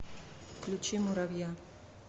включи муровья